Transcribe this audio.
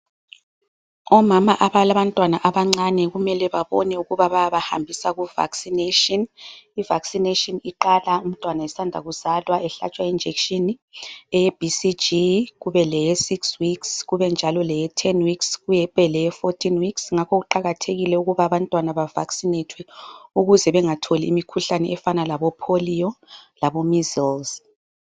Omama abalabantwana abancane kumele babone ukuthi bayabahambisa ku vaccination. I- vaccination iqala umntwana esanda kuzalwa ehlatshwa i- injection ye BCG, kube leye 6 weeks. Kubenjalo leye 10 weeks kube leye 14 weeks. Ngakho kuqakathekile ukuba abantwana ba vaccinatwe ukuze bengatholi imikhuhlane efana labo polio, labo measles.